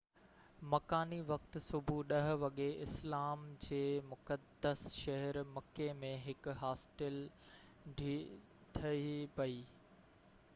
مڪاني وقت صبح 10 وڳي اسلام جي مقدس شهر مڪي ۾ هڪ هاسٽل ڊهي پئي